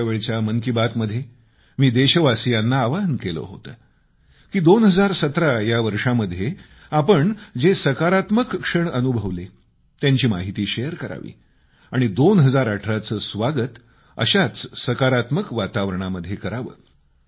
मागच्या वेळच्या मन की बात मध्ये मी देशवासियांना आवाहन केलं होतं की 2017 या वर्षामध्ये आपण जे सकारात्मक क्षण अनुभवले त्यांची माहिती शेअर करावी आणि 2018चं स्वागत अशाच सकारात्मक वातावरणामध्ये करावं